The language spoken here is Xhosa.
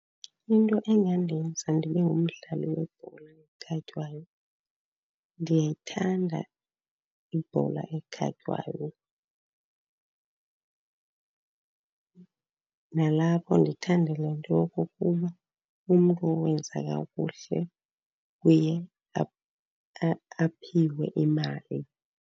Into engandenza ndibe ngumdlali webhola ekhatywayo, ndiyayithanda ibhola ekhatywayo. Nalapho ndithanda le nto yokokuba umntu owenza kakuhle uye aphiwe imali.